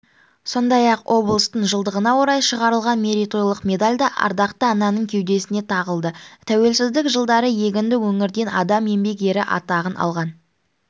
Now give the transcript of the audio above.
сондай-ақ облыстың жылдығына орай шығарылған мерейтойлық медаль да ардақты ананың кеудесіне тағылды тәуелсіздік жылдары егінді өңірден адам еңбек ері атағын алған